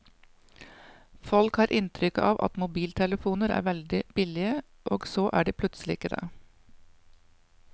Folk har inntrykk av at mobiltelefoner er veldig billige, og så er de plutselig ikke det.